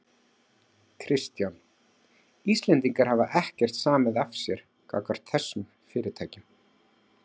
Kristján: Íslendingar hafa ekkert samið af sér gagnvart þessum fyrirtækjum?